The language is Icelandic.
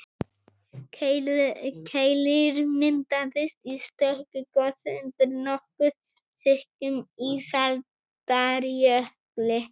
Keilir myndaðist í stöku gosi undir nokkuð þykkum ísaldarjökli.